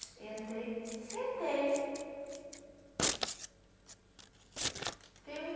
Sentei, sentei.